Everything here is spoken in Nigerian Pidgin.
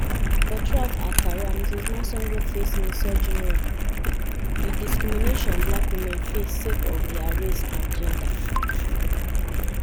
but throughout her career ms masango face misogynoir - di discrimination black women face sake of dia race and gender.